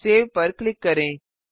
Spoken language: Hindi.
सेव पर क्लिक करें